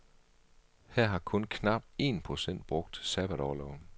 Her har kun knap en procent brugt sabbatorloven.